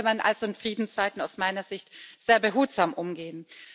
Damit sollte man also in Friedenszeiten aus meiner Sicht sehr behutsam umgehen.